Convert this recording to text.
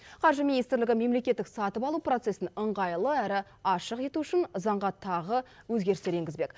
қаржы министрлігі мемлекеттік сатып алу процесін ыңғайлы әрі ашық ету үшін заңға тағы өзгерістер енгізбек